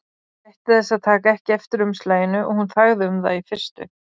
Hann gætti þess að taka ekki eftir umslaginu og hún þagði um það í fyrstu.